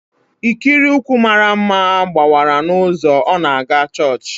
Ikiri ụkwụ mara mma gbawara n'ụzọ ọ na-aga chọọchị